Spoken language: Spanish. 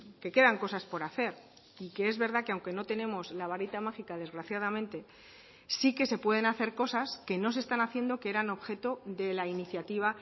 que quedan cosas por hacer y que es verdad que aunque no tenemos la varita mágica desgraciadamente sí que se pueden hacer cosas que no se están haciendo que eran objeto de la iniciativa